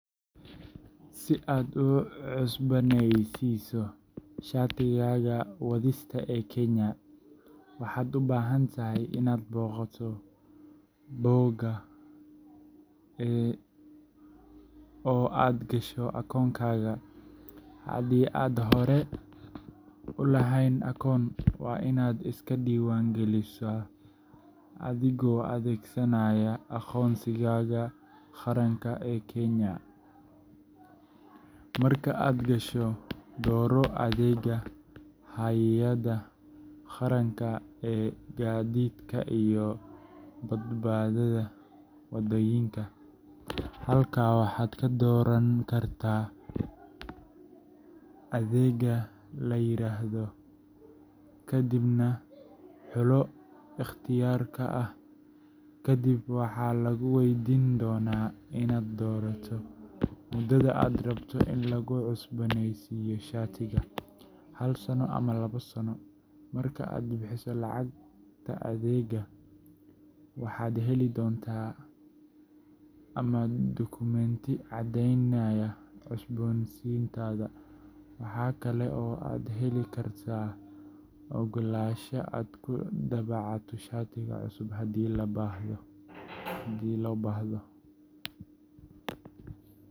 Si aad u cusboonaysiiso shatigaaga wadista ee Kenya, waxaad u baahan tahay inaad booqato bogga eCitizen https://accounts.ecitizen.go.ke oo aad gasho akoonkaaga. Haddii aadan hore u lahayn akoon, waa inaad iska diiwaangelisaa adigoo adeegsanaya aqoonsigaaga qaranka ee Kenya. Marka aad gasho, dooro adeegga Hay’adda Qaranka ee Gaadiidka iyo Badbaadada Waddooyinka NTSA. Halkaas waxaad ka dooran kartaa adeegga la yiraahdo Driving License ka dibna xulo ikhtiyaarka ah Renew Driving License. Kadib waxaa lagu weydiin doonaa inaad doorato muddada aad rabto in lagu cusbooneysiiyo shatigaaga hal sano ama labo sano. Marka aad bixiso lacagta adeegga, waxaad heli doontaa slip ama dukumeenti caddeynaya cusbooneysiinta. Waxa kale oo aad heli kartaa oggolaansho aad ku daabacato shatiga cusub haddii loo baahdo.